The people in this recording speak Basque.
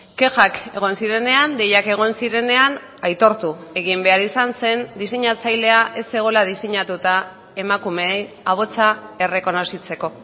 kexak egon zirenean deiak egon zirenean aitortu egin behar izan zen diseinatzailea ez zegoela diseinatuta emakume ahotsa errekonozitzeko